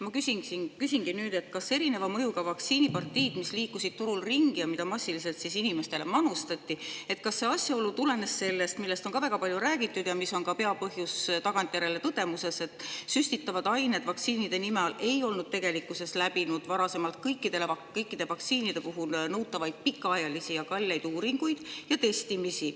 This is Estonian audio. Ma küsingi nüüd, kas erineva mõjuga vaktsiinipartiid, mis liikusid turul ringi ja mida massiliselt inimestele manustati, tulenesid sellest asjaolust, millest on väga palju räägitud ja mis on ka tagantjärele tõdedes peapõhjus, et vaktsiinide nime all süstitavad ained ei olnud tegelikkuses varasemalt läbinud kõikide vaktsiinide puhul nõutavaid pikaajalisi ja kalleid uuringuid ning testimisi.